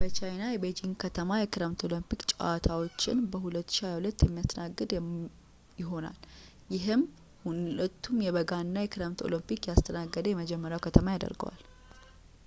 በቻይና የቤዢንግ ከተማ የክረምት ኦሎምፒክ ጨዋታዎችን በ2022 የሚያስተናግድ የሚያስተናግድ ይሆናል ይህም ሁለቱንም የበጋና የክረምት ኦሎምፒክ ያስተናገደ የመጀመሪያው ከተማ ያደርገዋል